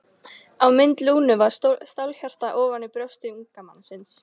Á mynd Lúnu var stálhjarta ofan á brjósti unga mannsins.